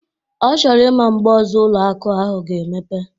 Ọ chọrọ ịma mgbe ọzọ ụlọ akụ ahụ ga-emepe?